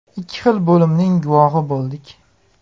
Ikki xil bo‘limning guvohi bo‘ldik.